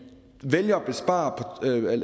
vælger